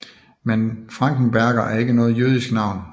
Men Frankenberger er ikke noget jødisk navn